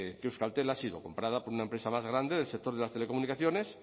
que euskaltel ha sido comprada por una empresa más grande del sector de las telecomunicaciones